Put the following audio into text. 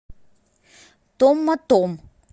томмотом